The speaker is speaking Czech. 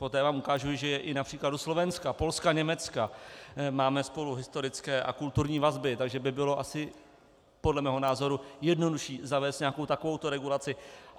Poté vám ukážu, že i na příkladu Slovenska, Polska, Německa máme spolu historické a kulturní vazby, takže by bylo asi podle mého názoru jednodušší zavést nějakou takovou regulaci.